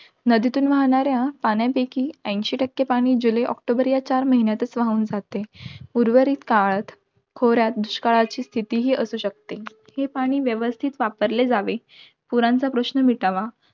नदीतून वाहणाऱ्या पाण्यापैकी ऐंशी टक्के पाणी, जुलै ऑक्टोबर या चार महिन्यातच वाहून जाते. उर्वरित काळात, खोऱ्यात दुष्काळाची स्थितीही असू शकते. हे पाणी व्यवस्थित वापरले जावे. पुरांचा प्रश्न मिटावा,